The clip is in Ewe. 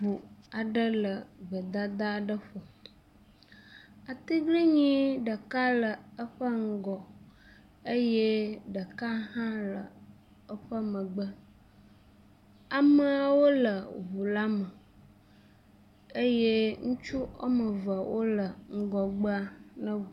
Ŋu aɖe le gbedada aɖe ƒo. atiglinyi ɖeka le eƒe ŋgɔ eye ɖeka hã le eƒe megbe. Ameawo le ŋu la me eye ŋutsu wɔme eve wo le ŋgɔgbe.